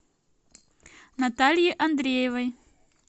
натальи андреевой